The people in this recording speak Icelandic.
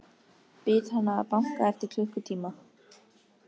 Bið hana að banka eftir klukkutíma.